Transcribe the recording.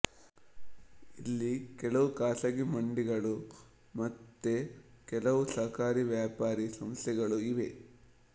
ಇಲ್ಲಿ ಕೆಲವು ಖಾಸಗಿ ಮಂಡಿಗಳು ಮತ್ತೆ ಕೆಲವು ಸಹಕಾರಿ ವ್ಯಾಪಾರಿ ಸಂಸ್ಥೆಗಳೂ ಇವೆ